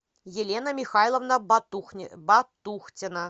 елена михайловна батухтина